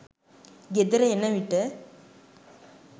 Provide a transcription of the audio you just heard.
ගෙදර එන විට